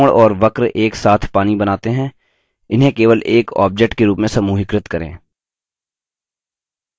त्रिकोण और वक्र एकसाथ पानी बनाते हैं इन्हें केवल एक object के रूप में समूहीकृत करें